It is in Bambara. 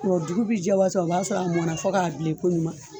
Dugu bɛ jɛ waati o b'a sɔrɔ a mɔna fɔ k'a bilen koɲuman